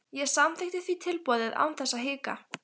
Ég samþykkti því tilboðið án þess að hika.